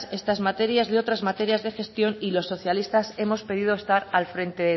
esta materias de otras materias de gestión y los socialistas hemos pedido estar al frente